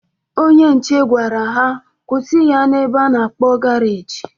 Onye nche gwara ha kwụsị ya na ebe a na-akpọ garaji